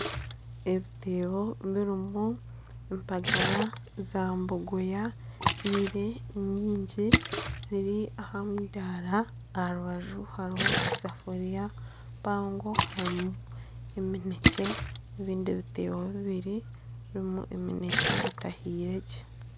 Ebiteebo birimu empagara za bogoya zihire nyingi ziri aha mudaara aha rubaju hariho esaafuriya mpango harimu emineekye n'ebindi biteebo bibiri birimu eminekye etahiire gye